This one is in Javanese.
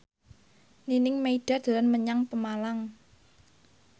Nining Meida dolan menyang Pemalang